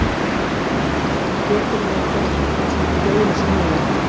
Karen: Getur maður gert eitthvað svona fleira sniðugt?